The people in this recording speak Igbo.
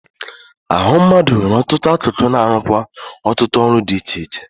Ahụ mmadụ nwere ọtụtụ akụkụ na-arụkwa ọtụtụ ọrụ di iche iche.